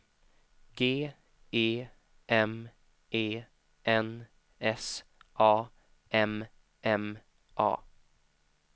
G E M E N S A M M A